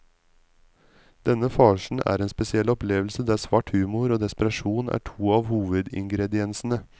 Denne farsen er en spesiell opplevelse der svart humor og desperasjon er to av hovedingrediensene.